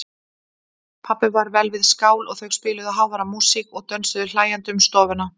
Pabbi var vel við skál og þau spiluðu háværa músík og dönsuðu hlæjandi um stofuna.